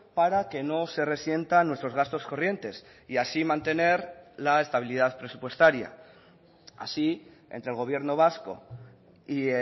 para que no se resientan nuestros gastos corrientes y así mantener la estabilidad presupuestaria así entre el gobierno vasco y